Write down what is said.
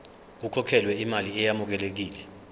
kukhokhelwe imali eyamukelekile